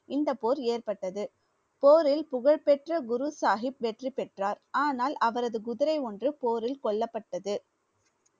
இந்த போர் ஏற்பட்டது போரில் புகழ்பெற்ற குரு சாஹிப் வெற்றி பெற்றார் ஆனால் அவரது குதிரை ஒன்று போரில் கொல்லப்பட்டது.